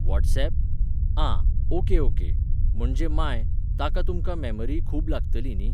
WhatsApp? आं, okay okay, म्हणजे मांय, ताका तुमकां मॅमरीय खूब लागतली न्ही?